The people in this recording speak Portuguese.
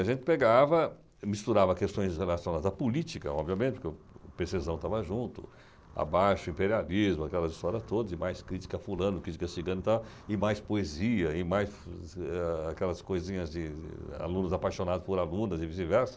A gente pegava, misturava questões relacionadas à política, obviamente, porque o Pecesão estava junto, abaixe o imperialismo, aquelas história toda, e mais crítica a fulano, crítica a ciclano, tal, e mais poesia, e mais, eh, aquelas coisinhas de alunos apaixonados por alunas e vice-versa.